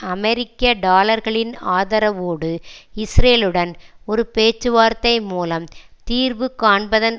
அமெரிக்க டாலர்களின் ஆதரவோடு இஸ்ரேலுடன் ஒரு பேச்சுவார்த்தை மூலம் தீர்வு காண்பதன்